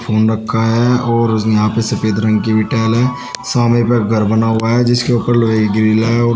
Foam रखा है और यहां पे सफेद रंग की भी टाइल है। सामने पे एक घर बना हुआ है जिसके ऊपर लोहे का ग्रिल है और --